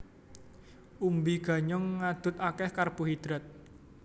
Umbi ganyong ngadhut akéh karbohidrat